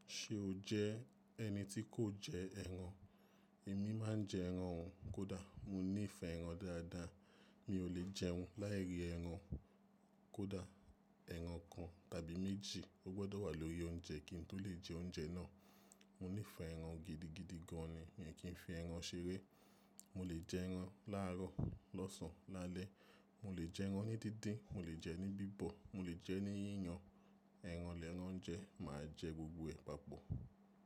Ṣé o jẹ́ ẹni tí kò jẹ ẹran? Èmi má ń jẹ ẹran o, kódà mo nífẹ̀ẹ́ ẹran dáadáa. Mi ò lè jẹun láì rí ẹran kódà ẹran kan tàbí méjì ó gbọdọ̀ wà lórí oúnjẹ kí n tó lè jẹ oúnjẹ náà. Mo nífẹ̀ẹ́ ẹran gidigidi gan ni, mii kì í fi ẹran ṣeré. Mo lè jẹ ẹran láàárọ̀, lọ́sàn án, lálẹ́. Mo lè jẹ ẹran ní díndín, mo lè jẹ ẹran ní bíbọ̀, mo lè jẹ ẹran ní yíyan. Ẹran l'ẹran jẹ, mà á jẹ gbogbo ẹ̀ papọ̀.